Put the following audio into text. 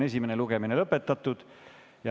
Esimene lugemine on lõpetatud.